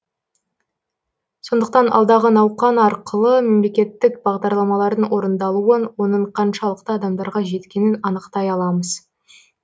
сондықтан алдағы науқан арқылы мемлекеттік бағдарламалардың орындалуын оның қаншалықты адамдарға жеткенін анықтай аламыз